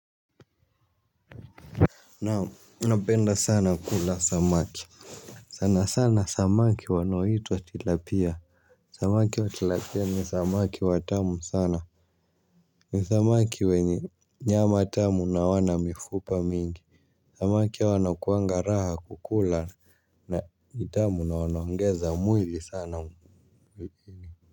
Naam napenda sana kula samaki. Sana sana samaki wanahitwa tilapia. Samaki watilapia ni samaki watamu sana. Ni samaki wenye nyama tamu na wana mifupa mingi. Samaki awa nakuanga raha kukula na nitamu na wanaongeza mwili sana mwili.